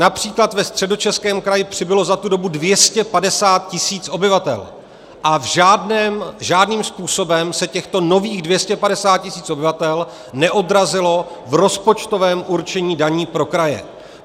Například ve Středočeském kraji přibylo za tu dobu 250 tisíc obyvatel a žádným způsobem se těchto nových 250 tisíc obyvatel neodrazilo v rozpočtovém určení daní pro kraje.